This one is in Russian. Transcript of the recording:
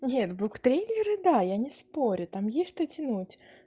нет буктрейлеры да я не спорю там есть что тянуть